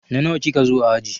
Na nawa ki ka zo a aji?